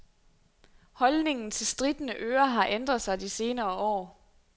Holdningen til strittende ører har ændret sig de senere år.